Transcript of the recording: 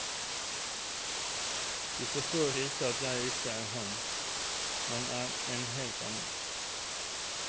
De forstår ikke at jeg ikke er ham, men en helt annen.